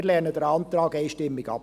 Wir lehnen den Antrag einstimmig ab.